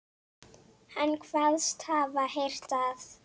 Hann kvaðst hafa heyrt að